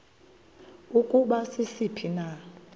ukuba sisiphi na